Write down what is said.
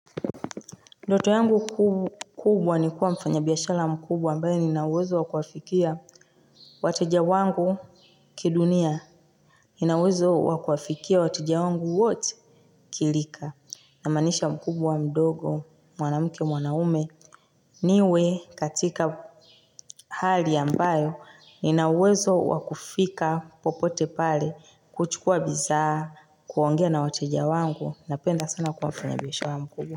Ndoto yangu kubwa ni kuwa mfanya biashara mkubwa ambayo nina uwezo wa kuwafikia wateja wangu kidunia. Nina uwezo wa kufikia wateja wangu wote kirika. Namaanisha mkubwa, mdogo, mwanamke, mwanaume. Niwe katika hali ambayo nina uwezo wa kufika popote pale, kuchukua bidhaa, kuongea na wateja wangu, napenda sana kuwa mfanya biashara mkubwa.